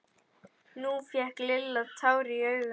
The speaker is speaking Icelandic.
Nú fékk Lilla tár í augun.